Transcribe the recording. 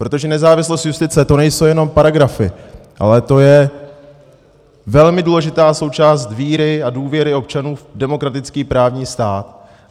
Protože nezávislost justice, to nejsou jenom paragrafy, ale to je velmi důležitá součást víry a důvěry občanů v demokratický právní stát.